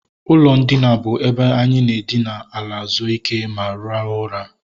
Ụlọ ndina bụ ebe anyị na edina ala zuo ike ma rahụ ụra